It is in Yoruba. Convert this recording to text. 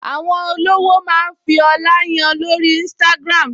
Àwọn olówó máa ń fi ọlá yan lórí Instagram